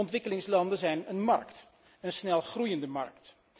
Ontwikkelingslanden zijn een markt, een snelgroeiende markt.